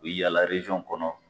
U bi yala kɔnɔ